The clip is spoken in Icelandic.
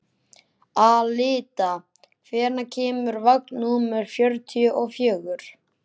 Alida, hvenær kemur vagn númer fjörutíu og fjögur?